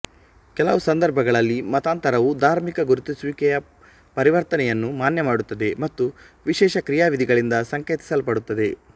ಕೆಲವು ಸಂದರ್ಭಗಳಲ್ಲಿ ಮತಾಂತರವು ಧಾರ್ಮಿಕ ಗುರುತಿಸುವಿಕೆಯ ಪರಿವರ್ತನೆಯನ್ನು ಮಾನ್ಯಮಾಡುತ್ತದೆ ಮತ್ತು ವಿಶೇಷ ಕ್ರಿಯಾವಿಧಿಗಳಿಂದ ಸಂಕೇತಿಸಲ್ಪಡುತ್ತದೆ